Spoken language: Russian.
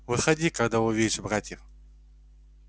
выходи когда увидишь братьев